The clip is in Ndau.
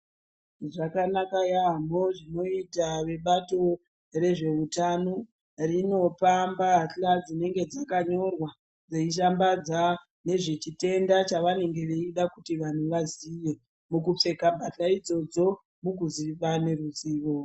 Zvakanaka yaambho zvinoita vebato rezveutano rinopa mbahla dzinonga dzakanyorwa reishambadza nezvechitenda chavanenge veida kuti vanthu vaziye mukupfeka mbahla idzodzo mukuzikana ruzivo.